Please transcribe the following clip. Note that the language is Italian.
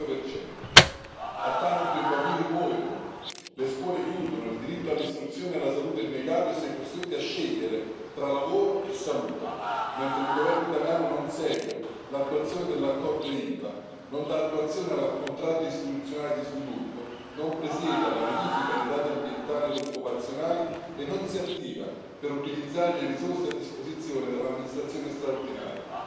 105 A Taranto i bambini muoiono, le scuole chiudono, il diritto all'istruzione e alla salute è negato e si è costretti a scegliere tra lavoro e salute, mentre il governo italiano non segue l'attuazione dell'accordo Ilva, non dà attuazione al contratto istituzionale di sviluppo, non presiede alla verifica dei dati ambientali ed occupazionali e non si attiva per utilizzare le risorse a disposizione dell'amministrazione straordinaria.